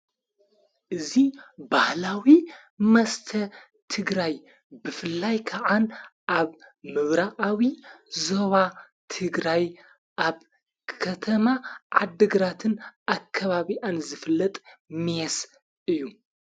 እዙ ባህላዊ መስተ ትግራይ ብፍላይ ከዓን ኣብ ምብራዓዊ ዞዋ ትግራይ ኣብ ከተማ ዓድግራትን ኣከባቢያኣን ዘፍለጥ ሜስ እዩ።